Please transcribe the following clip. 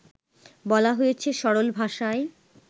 বলা হয়েছে সরল ভাষায়